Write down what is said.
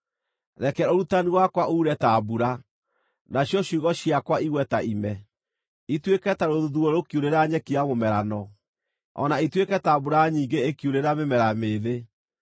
Reke ũrutani wakwa uure ta mbura, nacio ciugo ciakwa igwe ta ime, ituĩke ta rũthuthuũ rũkiurĩra nyeki ya mũmerano, o na ĩtuĩke ta mbura nyingĩ ĩkiurĩra mĩmera mĩĩthĩ.